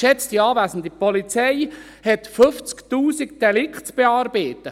Geschätzte Anwesende, die Polizei hat 50 000 Delikte zu bearbeiten.